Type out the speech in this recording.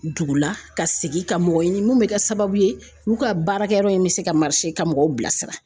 Dugu la ka segin ka mɔgɔ ɲini mun bɛ kɛ sababu ye olu ka baarakɛyɔrɔ in bɛ se ka ka mɔgɔw bilasira.